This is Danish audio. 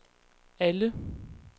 alle